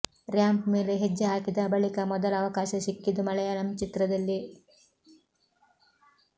ramp ಮೇಲೆ ಹೆಜ್ಜೆ ಹಾಕಿದ ಬಳಿಕ ಮೊದಲ ಅವಕಾಶ ಸಿಕ್ಕಿದ್ದು ಮಲಯಾಳಂ ಚಿತ್ರದಲ್ಲಿ